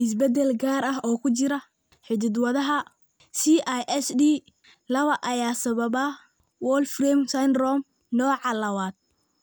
Isbeddel gaar ah oo ku jira hidda-wadaha CISDlawa ayaa sababa Wolfram syndrome nooca lawad.